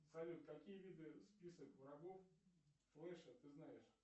салют какие виды список врагов флеша ты знаешь